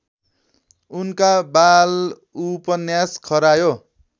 उनका बालउपन्यास खरायो